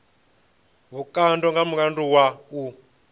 vhukando nga mulandu wa u